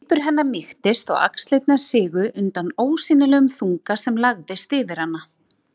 Svipur hennar mýktist og axlirnar sigu undan ósýnilegum þunga sem lagðist yfir hana.